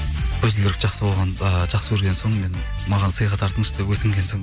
көзілдірік ыыы жақсы көрген соң мен маған сыйға тартыңызшы деп өтінген соң